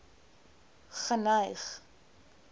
geneig